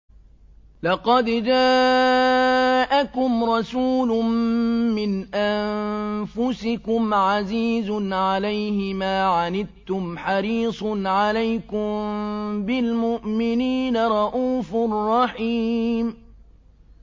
لَقَدْ جَاءَكُمْ رَسُولٌ مِّنْ أَنفُسِكُمْ عَزِيزٌ عَلَيْهِ مَا عَنِتُّمْ حَرِيصٌ عَلَيْكُم بِالْمُؤْمِنِينَ رَءُوفٌ رَّحِيمٌ